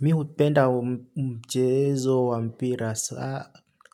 Mi hupenda mchezo wa mpira,